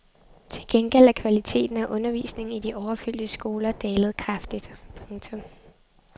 Til gengæld er kvaliteten af undervisningen i de overfyldte skoler dalet kraftigt. punktum